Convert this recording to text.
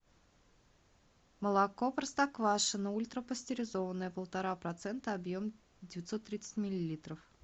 молоко простоквашино ультрапастеризованное полтора процента объем девятьсот тридцать миллилитров